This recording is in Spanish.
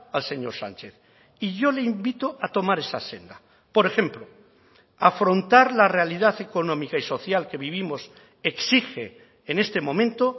al señor sánchez y yo le invito a tomar esa senda por ejemplo afrontar la realidad económica y social que vivimos exige en este momento